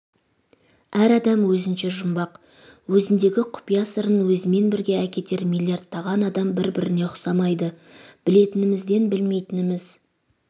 әр адам өзінше жұмбақ өзіндегі құпия сырын өзімен бірге әкетер миллиардтаған адам бір-біріне ұқсамайды білетінімізден білмейтініміз